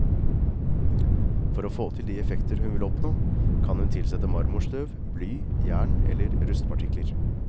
For å få til de effekter hun vil oppnå, kan hun tilsette marmorstøv, bly, jern eller rustpartikler.